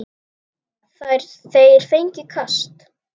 Þeir fengju kast!